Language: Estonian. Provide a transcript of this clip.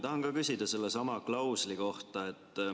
Tahan ka küsida sellesama klausli kohta.